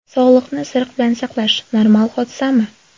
Sog‘liqni isiriq bilan saqlash – normal hodisami?